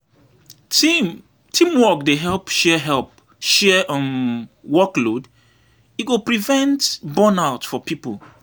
Teamwork dey help share workload, e go prevent burnout for pipo.